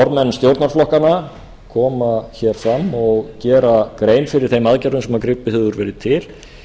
formenn stjórnarflokkanna koma fram og gera grein fyrir þeim aðgerðum sem gripið hefur verið til